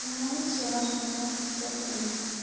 знаете раз у нас нету стефани